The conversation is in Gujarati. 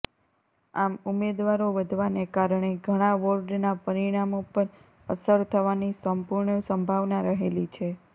આમ ઉમેદવારો વધવાને કારણે ઘણાં વોર્ડના પરિણામો પર અસર થવાની સંપૂર્ણ સંભાવના રહેલી છે